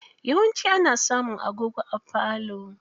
Yawanci ana samun agogo a falo.